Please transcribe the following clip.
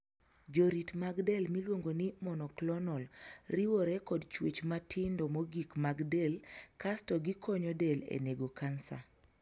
Jorit mag del miluongo ni 'monoclonal' riwore kod chuech matindo mogik mag del kasto gikonyo del e nego kansa.